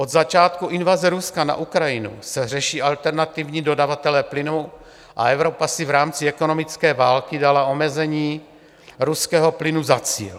Od začátku invaze Ruska na Ukrajinu se řeší alternativní dodavatelé plynu a Evropa si v rámci ekonomické války dala omezení ruského plynu za cíl.